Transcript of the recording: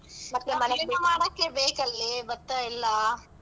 ಮಾಡಕ್ಕೆ ಬೇಕಲ್ಲೇ ಭತ್ತ ಎಲ್ಲಾ?